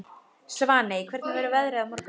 Svaney, hvernig verður veðrið á morgun?